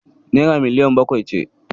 Naira miliyan bakwai ce.